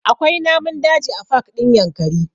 Akwai namun daji a pak ɗin Yankari